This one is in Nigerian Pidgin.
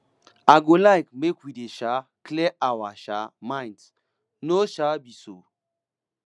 i go like make we dey um clear our um minds no um be so